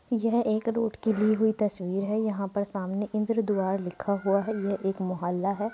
यह एक रूट की ली हुई तस्वीर है। यहाँ पर सामने इन्द्र द्वार लिखा हुआ है। ये एक मोहल्ला है।